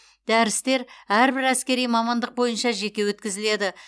дәрістер әрбір әскери мамандық бойынша жеке өткізіледі